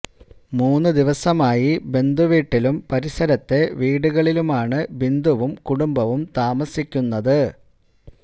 മൂന്ന് ദിവസമായി ബന്ധു വീട്ടിലും പരിസരത്തെ വീടുകളിലുമാണ് ബിന്ദുവും കുടുംബവും താമസിക്കുന്നത്